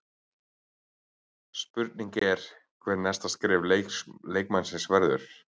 Spurning er hvað næsta skref leikmannsins verður?